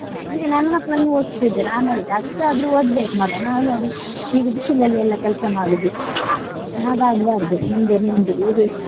ಈಗ ನನ್ ಮಕ್ಕಳನ್ನು ಓದಿಸ್ತಿದ್ದೀನೆ ನಾನ್ ಹೇಳುದು ಕಷ್ಟಾದ್ರು ಓದ್ಬೇಕ್ ಮಗ ನಾವು ನೋಡಿ ಈಗ ಬಿಸಿಲಲ್ಲಿ ಎಲ್ಲ ಕೆಲ್ಸ ಮಾಡುದು ಹಾಗಾಗಬಾರ್ದು ಮುಂದೆ ನಿಮ್ಗೆ ಈಗ.